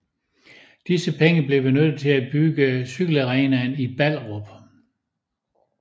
Disse penge blev benyttet til at bygge cykelarenaen i Ballerup